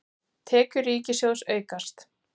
Tekjur ríkissjóðs aukast